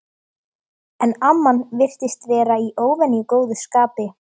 En amman virtist vera í óvenju góðu skapi.